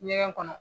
Ɲɛgɛn kɔnɔ